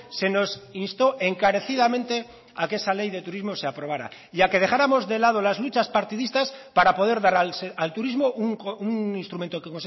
se nos instó encarecidamente a que esa ley de turismo se aprobara y a que dejáramos de lado las luchas partidistas para poder dar al turismo un instrumento que